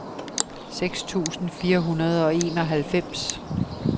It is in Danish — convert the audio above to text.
seks tusind fire hundrede og enoghalvfems